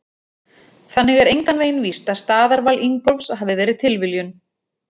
Þannig er engan veginn víst að staðarval Ingólfs hafi verið tilviljun!